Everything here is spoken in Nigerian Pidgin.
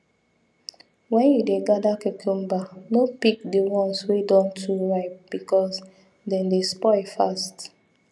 when you dey gather cucumber no pick the ones wey don too ripe because dem dey spoil fast